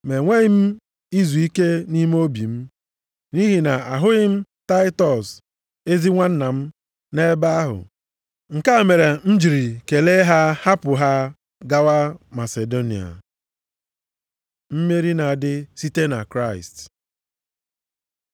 Ma enweghị m izuike nʼime obi m, nʼihi na ahụghị m Taịtọs ezi nwanna m nʼebe ahụ. Nke a mere m jiri kelee ha hapụ ha gawa Masidonia. Mmeri na-adị site na Kraịst